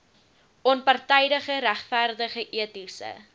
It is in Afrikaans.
onpartydige regverdige etiese